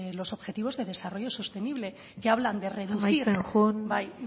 los objetivos de desarrollo sostenible que hablan de reducir amaitzen joan bai